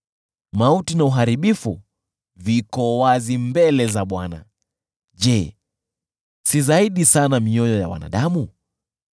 Mauti na Uharibifu viko wazi mbele za Bwana : je, si zaidi sana mioyo ya wanadamu!